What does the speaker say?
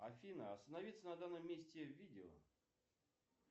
афина остановиться на данном месте видео